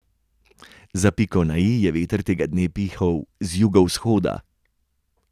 Za piko na i je veter tega dne pihal z jugovzhoda.